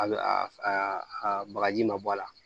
A bɛ a a bagaji ma bɔ a la